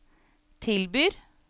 tilbyr